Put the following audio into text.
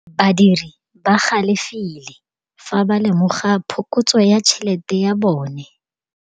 Badiri ba galefile fa ba lemoga phokotsô ya tšhelête ya bone.